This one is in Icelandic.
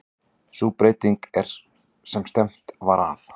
Sú breyting sem stefnt var að